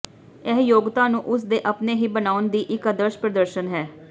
ਇਹ ਯੋਗਤਾ ਨੂੰ ਉਸ ਦੇ ਆਪਣੇ ਹੀ ਬਣਾਉਣ ਦੀ ਇੱਕ ਆਦਰਸ਼ ਪ੍ਰਦਰਸ਼ਨ ਹੈ